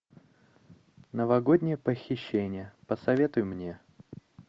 новогоднее похищение посоветуй мне